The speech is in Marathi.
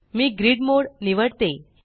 मी ग्रिड मोड़ निवडते